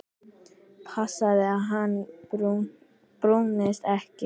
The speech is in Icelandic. Passið að hann brúnist ekki.